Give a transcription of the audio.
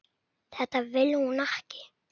Þetta vill hún ekki.